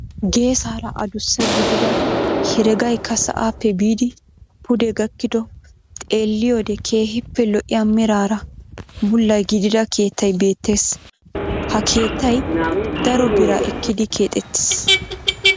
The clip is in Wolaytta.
Geesaara adussa gidida heregaykka sa'aappe biidi pude gakkido xeelliyoode keehippe lo"iyaa meraara bulla gidida keettay beettees. ha keettay daro biraa ekkidi keexettiis.